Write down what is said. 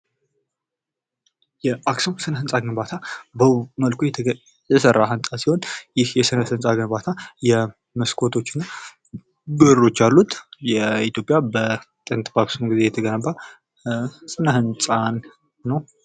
የአክሱም ሰነ ህንፃ ግንባታ በውብ መልኩ የተሰራ ህንፃ ሲሆን ይህ የስነ ህንፃ ግንባታ የመስኮቶች እና በሮች ያሉት የኢትዮጵያ በጥንት በአክሱም ጊዜ የተገነባ ስነ ህንፃ ነው ።